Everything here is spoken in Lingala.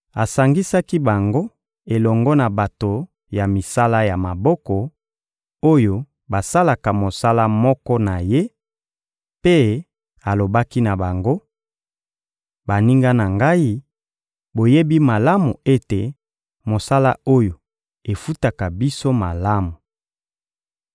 Asangisaki bango elongo na bato ya misala ya maboko, oyo basalaka mosala moko na ye, mpe alobaki na bango: — Baninga na ngai, boyebi malamu ete mosala oyo efutaka biso malamu.